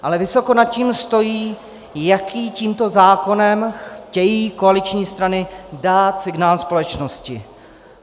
Ale vysoko nad tím stojí, jaký tímto zákonem chtějí koaliční strany dát signál společnosti.